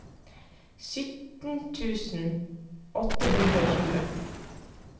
syttien tusen åtte hundre og tjue